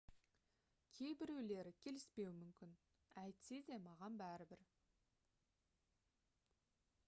кейбіреулері келіспеуі мүмкін әйтсе де маған бәрібір